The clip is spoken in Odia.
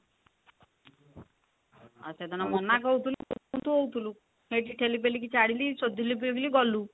ଆଃ ସେଦିନ ମନା କରୁଥିଲୁ କୁଂଥୁ କୁଂଥୁ ହଉଥିଲୁ, ସେଇଠି ଠେଲି ପେଲି କି ଛାଡ଼ିଲି ସୋଦିଲି ବୋଲି ଗଲୁ